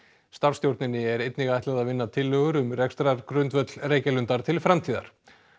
starfsstjórninni er einnig ætlað að vinna tillögur um rekstrargrundvöll Reykjalundar til framtíðar